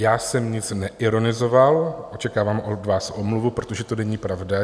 Já jsem nic neironizoval, očekávám od vás omluvu, protože to není pravda.